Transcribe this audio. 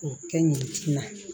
K'o kɛ ɲinti na